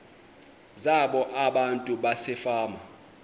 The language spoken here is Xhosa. zabo abantu basefama